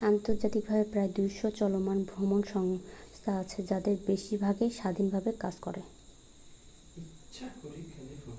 আন্তর্জাতিকভাবে প্রায় 200 চলমান ভ্রমন সংস্থা আছে তাদের বেশির ভাগই স্বাধীনভাবে কাজ করে